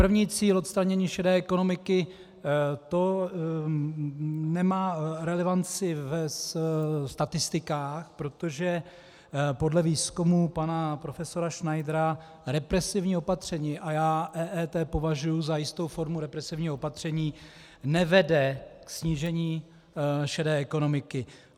První cíl, odstranění šedé ekonomiky, to nemá relevanci ve statistikách, protože podle výzkumu pana profesora Schneidera represivní opatření, a já EET považuji za jistou formu represivního opatření, nevede k snížení šedé ekonomiky.